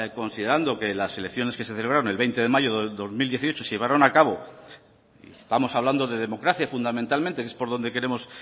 considerando que las elecciones que se celebraron el veinte de mayo del dos mil dieciocho se llevaron a cabo y estamos hablando de democracia fundamentalmente que es por donde queremos